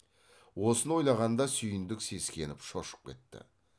осыны ойлағанда сүйіндік сескеніп шошып кетті